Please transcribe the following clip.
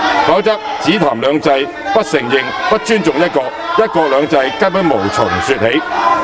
否則，只談"兩制"，不承認、不尊重"一國"，"一國兩制"根本無從說起。